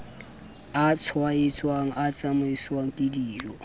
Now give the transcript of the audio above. a tshwaetsang a tsamaiswang kedijo